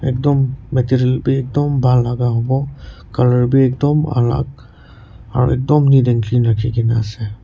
ekdom material bhi ekdum bhal laga hobo colour bhi ekdum alag ekdam neat and clean rakhi ke na ase.